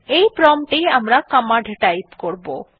এই প্রম্পট এই আমরা কমান্ড টাইপ করবো